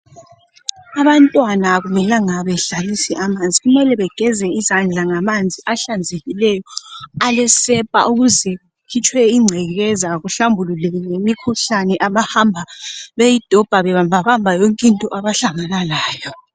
Abantwana akumelanga bedlalise amanzi kumele begeze izandla ngamanzi ahlanzekileyo alesepa ukuze kukhitshwe ingcekeza kuhlambululwe lemikhuhlane abahamba beyidobha bebambabamba yonke into abahlangana layo